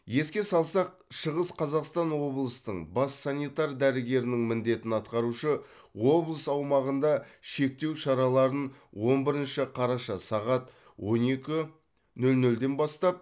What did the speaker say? еске салсақ шығыс қазақстан облысының бас санитар дәрігерінің міндетін атқарушы облыс аумағында шектеу шараларын он бірінші қараша сағат он екі нөл нөлден бастап